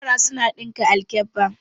Yara suna ɗinka alkabba.